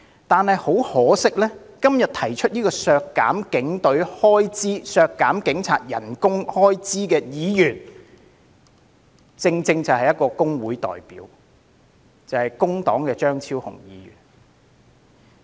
但是，很可惜，今天提出削減警員薪酬預算開支的議員，正正是一名工會代表，他就是工黨的張超雄議員。